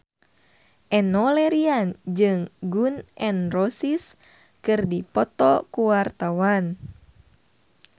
Enno Lerian jeung Gun N Roses keur dipoto ku wartawan